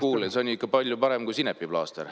No kuule, see on ikka palju parem kui sinepiplaaster.